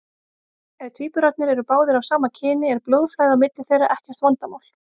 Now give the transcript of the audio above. Ef tvíburarnir eru báðir af sama kyni er blóðflæði á milli þeirra ekkert vandamál.